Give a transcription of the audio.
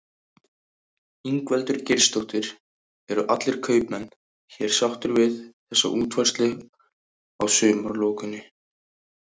Ingveldur Geirsdóttir: Eru allir kaupmenn hér sáttir við þessa útfærslu á sumarlokuninni?